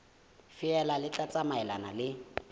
feela le tla tsamaelana le